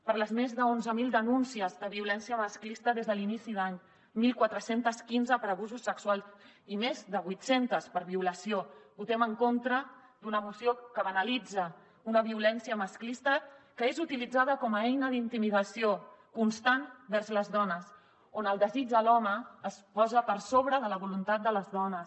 per les més d’onze mil denúncies de violència masclista des de l’inici d’any catorze deu cinc per abusos sexuals i més de vuit centes per violació votem en contra d’una moció que banalitza una violència masclista que és utilitzada com a eina d’intimidació constant vers les dones on el desig de l’home es posa per sobre de la voluntat de les dones